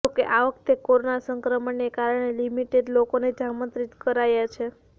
જોકે આ વખતે કોરોના સંક્રમણને કારણે લિમિટેડ લોકોને જ આમંત્રિત કરાયા છે